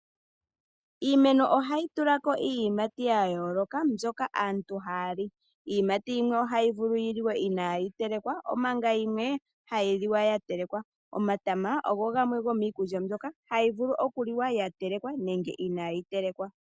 Iimeno ohayi tula ko iiyimati yaayooloka mbyoka ,aantu haali iiyimati yimwe ohayi vulu yi liwe imayi telekwa omanga yimwe hayi liwa nge ya telekwa omatama ogo gamwe go miikulya mbyoka hayi vulu okuliwa inayi telekwa nenge ya telekwa.